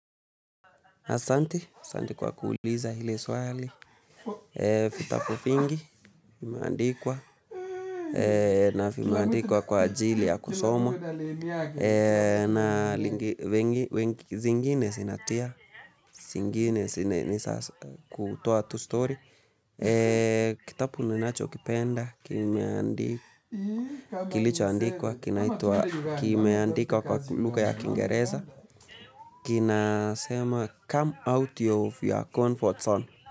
Asante kwa kuuliza hili swali, vitabu vingi, kimeandikwa, navimeandikwa kwa ajili ya kusomo, na zingine zinatia, zingine si ni sasa kutoa tu story. Kitabu ninachokipenda kilichoandikwa kinaitwa kimeandikwa kwa lugha ya Kiingereza. Kinasema Come out of your comfort zone.